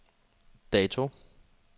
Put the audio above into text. dato